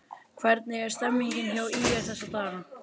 Hvernig er stemmningin hjá ÍR þessa dagana?